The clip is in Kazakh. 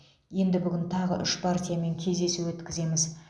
енді бүгін тағы үш партиямен кездесу өткіземіз